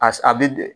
A a bɛ